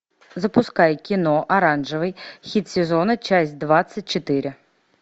запускай кино оранжевый хит сезона часть двадцать четыре